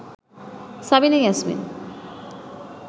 Sabina Yasmin